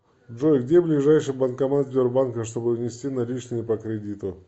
джой где ближайший банкомат сбербанка чтобы внести наличные по кредиту